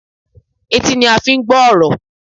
Etí ni a fi ń gbọ́ ọ̀rọ̀.